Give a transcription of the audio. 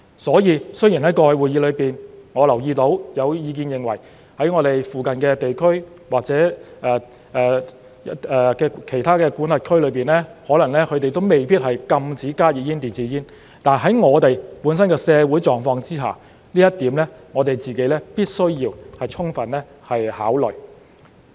所以，雖然在過去的會議中，我留意到有意見認為我們附近的地區或其他管轄區可能未必禁止加熱煙、電子煙，但在我們本身的社會狀況之下，這一點是我們必須要充分考慮的。